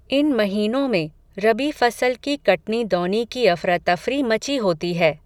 इन महीनों में, रबी फ़सल की कटनी दौनी की अफ़रा तफ़री मची होती है